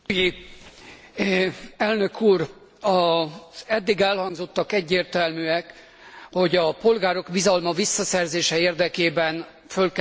Az eddig elhangzottak egyértelműek, hogy a polgárok bizalma visszaszerzése érdekében föl kell lépni a bónuszok ellen, az adóparadicsomok ellen.